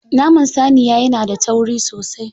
Naman saniya yana da tauri sosai.